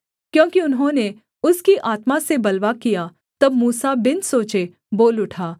क्योंकि उन्होंने उसकी आत्मा से बलवा किया तब मूसा बिन सोचे बोल उठा